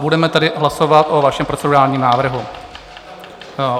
Budeme tedy hlasovat o vašem procedurálním návrhu.